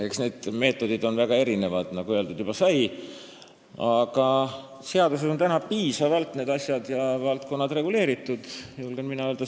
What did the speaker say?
Eks need meetodid ole väga erinevad, nagu juba öeldud sai, aga seaduses on need asjad ja valdkonnad piisavalt reguleeritud, julgen mina öelda.